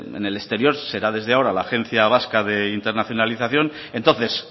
en el exterior será desde ahora la agencia vasca de internacionalización entonces